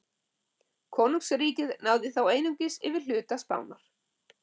Konungsríkið náði þá einungis yfir hluta Spánar.